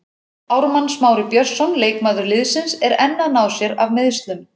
Ármann Smári Björnsson leikmaður liðsins er enn að ná sér af meiðslum.